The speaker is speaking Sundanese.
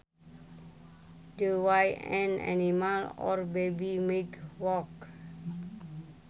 The way an animal or baby might walk